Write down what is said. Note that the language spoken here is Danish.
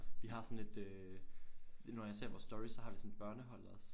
Vi har sådan et øh nogen gange når jeg ser vores story så har vi sådan et børnehold også